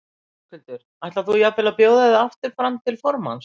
Höskuldur: Ætlar þú jafnvel að bjóða þig aftur fram til formanns?